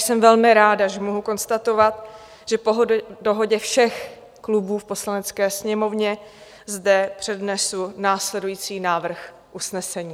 Jsem velmi ráda, že mohu konstatovat, že po dohodě všech klubů v Poslanecké sněmovně zde přednesu následující návrh usnesení: